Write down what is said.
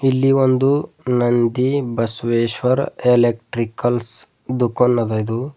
ಇಲ್ಲಿ ಒಂದು ನಂದಿ ಬಸವೇಶ್ವರ್ ಎಲೆಕ್ಟ್ರಿಕಲ್ಸ್ ದುಕಾನ್ ಅದ ಇದು.